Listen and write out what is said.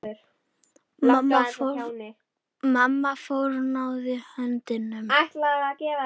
Mamma fórnaði höndum.